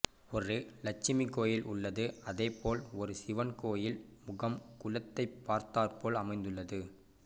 ஒரு லட்சுமி கோயில் உள்ளது அதே போல் ஒரு சிவன் கோயில் முகம் குளத்தை பார்த்தார்போல் அமைந்துள்ளது